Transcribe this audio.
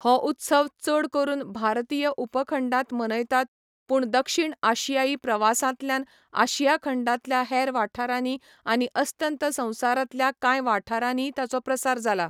हो उत्सव चड करून भारतीय उपखंडांत मनयतात पूण दक्षिण आशियाई प्रवासांतल्यान आशिया खंडांतल्या हेर वाठारांनी आनी अस्तंत संवसारांतल्या कांय वाठारांनीय ताचो प्रसार जाला.